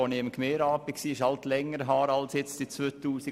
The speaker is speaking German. Das liegt länger zurück als 2010.